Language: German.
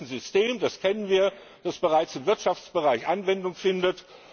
Das ist ein System, das kennen wir, das bereits im Wirtschaftsbereich Anwendung findet.